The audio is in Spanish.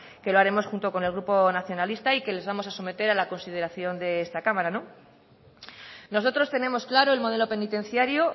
que lo haremos junto con el grupo nacionalista y que les vamos a someter a la consideración de esta cámara nosotros tenemos claro el modelo penitenciario